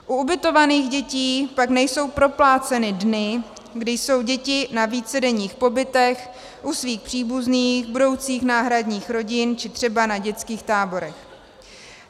U ubytovaných dětí pak nejsou propláceny dny, kdy jsou děti na vícedenních pobytech u svých příbuzných, budoucích náhradních rodin či třeba na dětských táborech.